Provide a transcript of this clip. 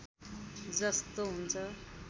जस्तो हुन्छ